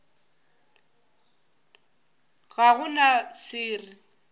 ga go na se re